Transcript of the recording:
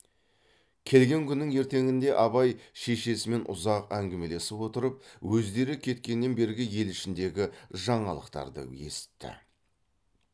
келген күннің ертеңінде абай шешесімен ұзақ әңгімелесіп отырып өздері кеткеннен бергі ел ішіндегі жаңалықтарды есітті